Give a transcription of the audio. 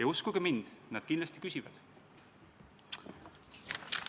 Ja uskuge mind, nad kindlasti küsivad.